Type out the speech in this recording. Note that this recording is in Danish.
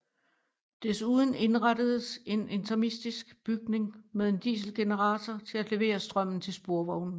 Desuden indrettedes en interimistisk bygning med en dieselgenerator til at levere strømmen til sporvognene